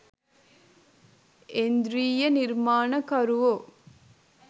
ඓන්ද්‍රීය නිර්මාණකරුවෝ